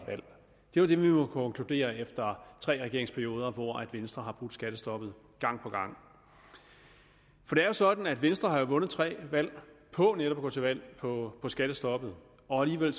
jo det vi må konkludere efter tre regeringsperioder hvor venstre har brudt skattestoppet gang på gang for det er jo sådan at venstre har vundet tre valg på netop at gå til valg på skattestoppet og alligevel